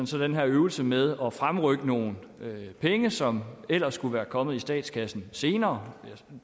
så den her øvelse med at fremrykke nogle penge som ellers skulle være kommet i statskassen senere